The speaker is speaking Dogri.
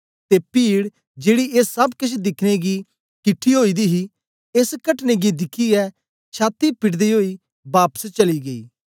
ते पीड जेड़ी ए सब केछ दिखने गी किठी ओई दी ही एस कटने गी दिखियै छाती पिटदे ओई बापस चली गेई